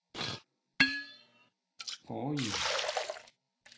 forrige